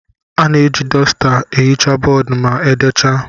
A na-eji dosta na-ehicha bọọdụ ma e decha.